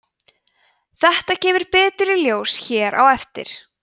þetta kemur betur í ljós hér á eftir